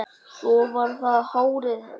Svo var það hárið hennar.